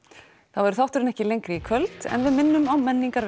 þá verður þátturinn ekki lengri í kvöld en við minnum á